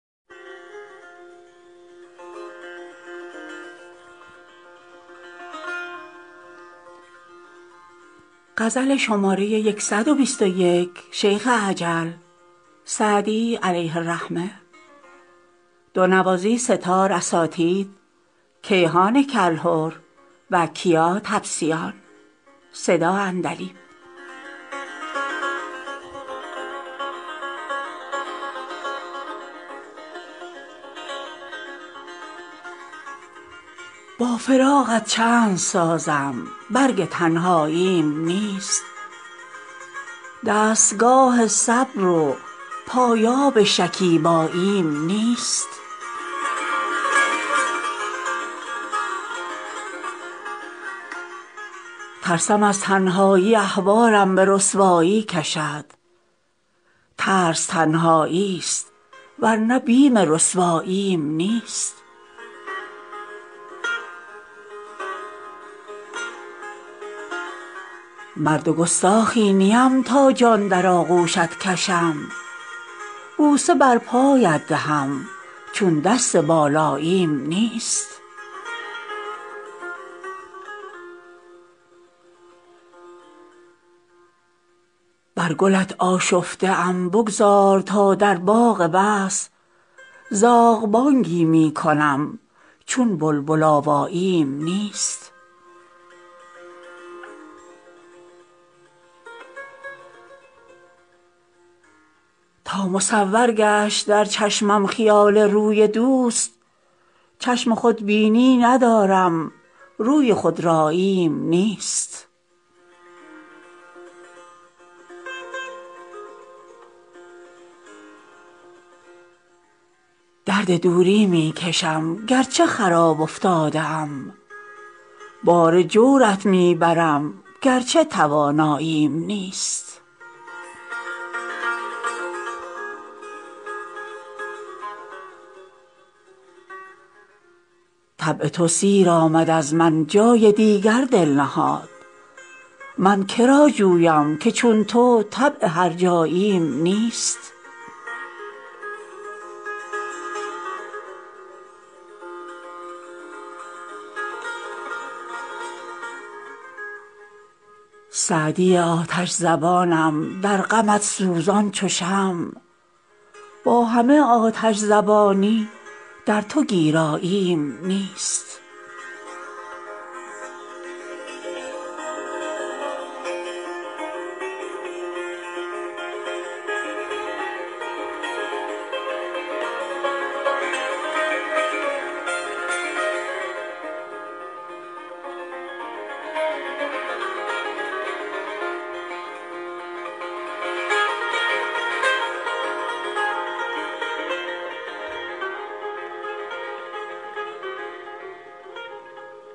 با فراقت چند سازم برگ تنهاییم نیست دستگاه صبر و پایاب شکیباییم نیست ترسم از تنهایی احوالم به رسوایی کشد ترس تنهایی ست ور نه بیم رسواییم نیست مرد گستاخی نیم تا جان در آغوشت کشم بوسه بر پایت دهم چون دست بالاییم نیست بر گلت آشفته ام بگذار تا در باغ وصل زاغ بانگی می کنم چون بلبل آواییم نیست تا مصور گشت در چشمم خیال روی دوست چشم خودبینی ندارم روی خودراییم نیست درد دوری می کشم گر چه خراب افتاده ام بار جورت می برم گر چه تواناییم نیست طبع تو سیر آمد از من جای دیگر دل نهاد من که را جویم که چون تو طبع هرجاییم نیست سعدی آتش زبانم در غمت سوزان چو شمع با همه آتش زبانی در تو گیراییم نیست